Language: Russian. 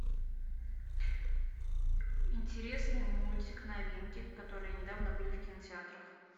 интересный мультик новинки которые недавно были в кинотеатрах